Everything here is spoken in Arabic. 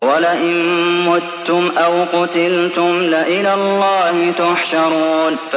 وَلَئِن مُّتُّمْ أَوْ قُتِلْتُمْ لَإِلَى اللَّهِ تُحْشَرُونَ